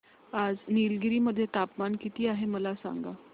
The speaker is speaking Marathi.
आज निलगिरी मध्ये तापमान किती आहे मला सांगा